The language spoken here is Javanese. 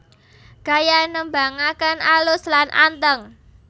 Gaya nembangaken alus lan anteng